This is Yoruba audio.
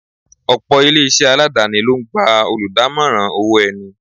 Ọ̀pọ̀ ilé-isé aladani ló ń gba oludamoran owó ẹni.